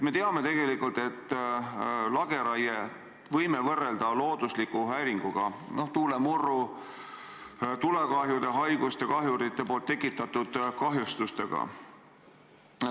Me teame tegelikult, et lageraiet võime võrrelda loodusliku häiringuga – tuulemurru, tulekahjude, haiguste, kahjurite poolt tekitatud kahjustustega.